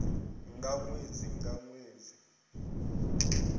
ha ṅwedzi nga ṅwedzi vhune